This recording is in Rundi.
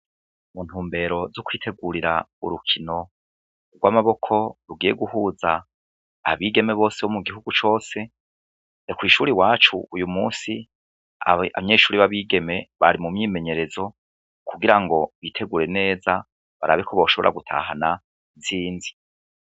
Mu ntumbero zo kwitegurira urukino rw'umupira w'amaboko rugiye guhuza abigeme bose mu gihugu cose, ni kw'ishure iwacu uyu musi abanyeshure b'abigeme bari mu myimenyerezo kugira ngo bitegure neza barabe ko boshobora gutahana intsinzi.